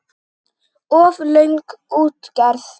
Of löng útgerð.